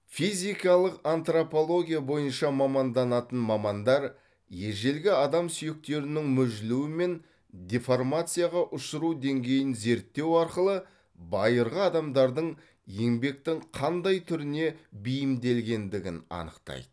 физикалық антропология бойынша маманданатын мамандар ежелгі адам сүйектерінің мүжілуі мен деформацияға ұшыру деңгейін зерттеу арқылы байырғы адамдардың еңбектің қандай түріне бейімделгендігін анықтайды